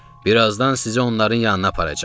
Birazdan sizi onların yanına aparacam.